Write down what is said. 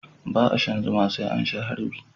ba a shan zuma sai an sha harbi